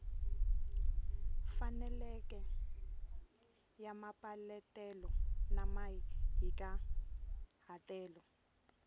faneleke ya mapeletelo na mahikahatelo